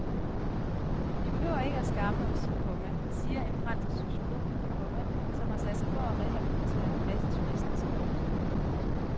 Vi behøver ikke at skamme os, komma siger en fransk sociolog, komma som har sat sig for at rehabilitere masseturistens omdømme. punktum